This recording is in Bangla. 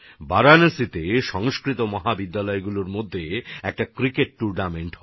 বারাণসীতে সংস্কৃত মহাবিদ্যালয়গুলির মধ্যে একটা ক্রিকেট টুর্নামেন্ট হয়েছিল